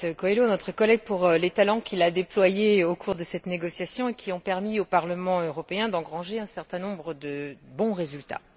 Carlos Coelho, pour les talents qu'il a déployés au cours de cette négociation et qui ont permis au Parlement européen d'engranger un certain nombre de bons résultats.